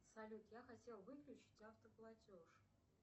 салют я хотел выключить автоплатеж